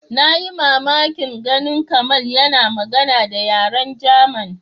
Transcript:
Na yi mamakin ganin Kamal yana magana da yaren German.